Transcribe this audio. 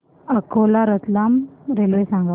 Akola Ratlam railway सांगा